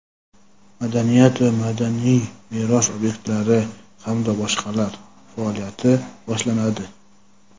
madaniyat va madaniy meros obyektlari hamda boshqalar) faoliyati boshlanadi.